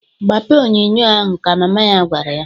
"Gbapee onyoonyoo ahụ!" ka mama ya gwara ya.